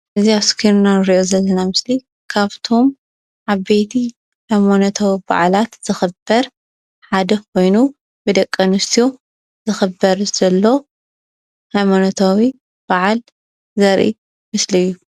እዚ ኣብ እስክሪንና እንሪኦ ዘለና ምስሊ ካብቶም ዓበይቲ ሃይማኖታዊ በዓላት ዝኽበር ሓደ ኮይኑ ብደቂ ኣንስትዮ ዝኽበር ዘሎ ሃይማኖታዊ በዓል ዘርኢ ምስሊ እዩ፡፡